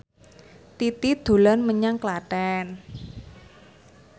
Titi dolan menyang Klaten